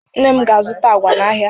Nne m ga-azụta agwa n'ahịa.